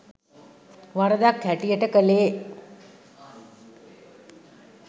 වරදක් හැටියට කලේ